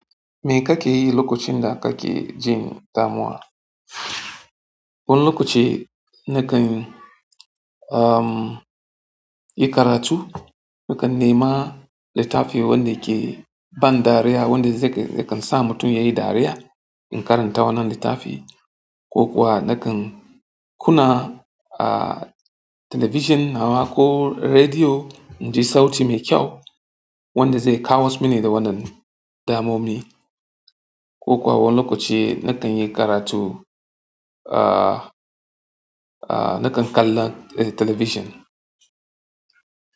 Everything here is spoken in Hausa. Me kake yi lokacin da kake jin damuwa? Wani lokaci na kan, umm, yi karatu, na kan nema littafi wanda ke ban dariya, wanda zai, zai kan sa mutum yayi dariya, in karanta wannan littafi. Ko kuwa na kan kuna, ahh, talabijin nawa ko rediyo, in ji sauti mai kyau wanda zai kawo mini wannan damami. Ko kuwa wani lokaci nakanyi karatu ah, ah nakan kalla telebishin.